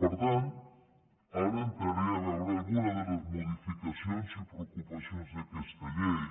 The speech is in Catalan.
per tant ara entraré a veure alguna de les modificacions i preocupacions d’aquesta llei